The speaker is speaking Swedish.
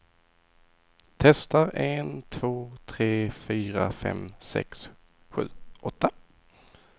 Testar en två tre fyra fem sex sju åtta.